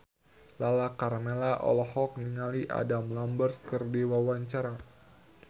Lala Karmela olohok ningali Adam Lambert keur diwawancara